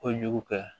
Kojugu kɛ